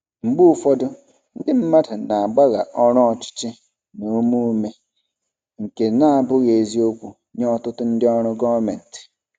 Mgbe ụfọdụ, ndị mmadụ na-agbagha ọrụ ọchịchị na ume ume, nke na-abụghị eziokwu nye ọtụtụ ndị ọrụ gọọmentị.